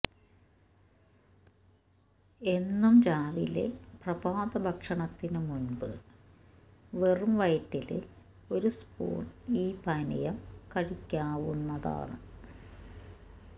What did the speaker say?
എന്നും രാവിലെ പ്രഭാത ഭക്ഷണത്തിനു മുന്പ് വെറും വയറ്റില് ഒരു സ്പൂണ് ഈ പാനീയം കഴിയ്ക്കാവുന്നതാണ്